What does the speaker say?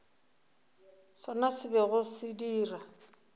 sona se bego se dira